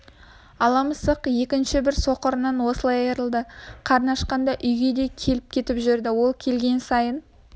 ала мысық екінші бір соқырынан осылай айрылды қарны ашқанда үйге де келіп-кетіп жүрді ол келген сайын